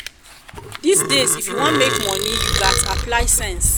dis days if you wan make money you gats apply sense